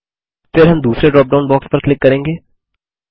फिर हम दूसरे ड्रॉपडाउन बॉक्स पर क्लिक करेंगे